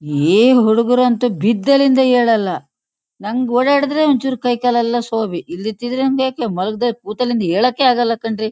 ಏನ್ ಹುಡಗ್ರಂತೂ ಬಿದ್ದಲ್ಲಿಂದಾ ಏಳಲ್ಲಾ. ನನಗೆ ಓಡಾಡ್ರೆ ಒಂಚೂರ್ ಕೈ ಕಾಲೆಲ್ಲಾ ಶೋಭಿ. ಇಲ್ದಿತ್ತಂದ್ರೆ ಮಲ್ಗದಲ್ ಕುತಲಿಂದಾ ಏಳೋಕೆ ಆಗಲ್ಲ ಕಣ್ರೀ.